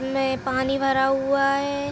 में पानी भरा हुआ हैं।